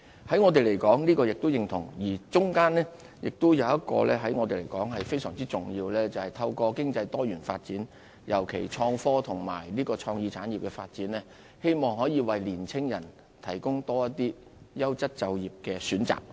在我們來說，這點亦是認同，而中間亦有一點對我們來說是非常重要的，就是透過經濟多元發展，尤其創科和創意產業的發展，希望可以為年輕人提供多一些優質就業的選擇。